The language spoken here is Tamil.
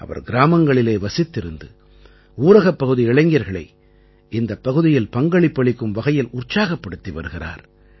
அவர் கிராமங்களிலேயே வசித்திருந்து ஊரகப் பகுதி இளைஞர்களை இந்தப் பகுதியில் பங்களிப்பு அளிக்கும் வகையில் உற்சாகப்படுத்தி வருகிறார்